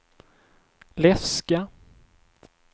läska